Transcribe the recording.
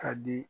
Ka di